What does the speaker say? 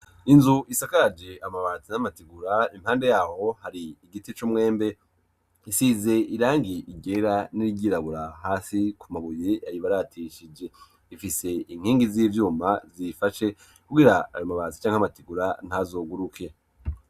Inzu isakaje amabati n'amategura impande yaho hari igiti c'umwembe, isize irangi ryera n'irgirabura hasi ku mabuye yayibaratishije ifise inkingi z'ivyuma zifashe kubwira ar mabazi cyank'amategura ntazoguruke.